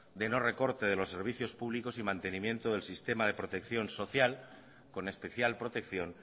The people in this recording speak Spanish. de no recorte de los servicios públicos y mantenimiento del sistema de protección social con especial protección